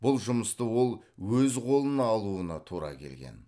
бұл жұмысты ол өз қолына алуына тура келген